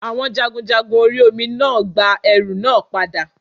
Àwon jagunjagun orí Omi náà gba ẹrù náà padà